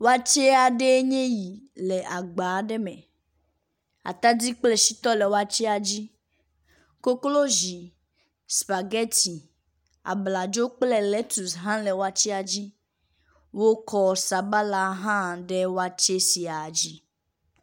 Watsɛ aɖee nye yi le agba aɖe me. Atadi kple shiyɔ le watsɛa dzi. Koklozi, supageti, abladzo kple letus hã le watsɛa dzi. Wkɔ sabala hã ɖe watsɛ sia dzi.